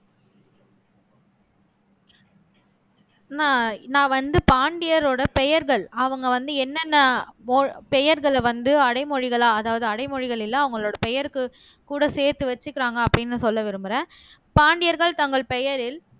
நா நான் வந்து பாண்டியரோட பெயர்கள் அவங்க வந்து என்னென்ன மோல் பெயர்களை வந்து அடைமொழிகளா அதாவது அடைமொழிகள் இல்லை அவங்களோட பெயருக்கு கூட சேர்த்து வச்சுக்கிறாங்க அப்படின்னு சொல்ல விரும்புறேன் பாண்டியர்கள் தங்கள் பெயரில்